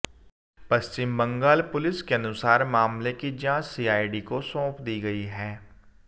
पश्चिम Bengal police के अनुसार मामले की जांच सीआईडी को सौंप दी गई है